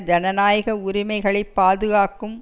ஜனநாயக உரிமைகளை பாதுகாக்கும்